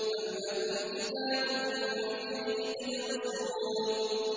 أَمْ لَكُمْ كِتَابٌ فِيهِ تَدْرُسُونَ